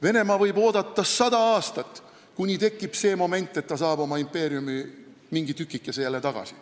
Venemaa võib oodata sada aastat, kuni tekib see moment, et ta saab oma impeeriumi mingi tükikese jälle tagasi.